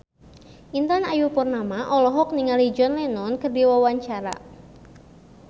Intan Ayu Purnama olohok ningali John Lennon keur diwawancara